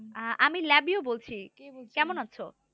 আহ আমি লাবিও বলছি। কেমন আছো?